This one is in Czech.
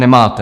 Nemáte.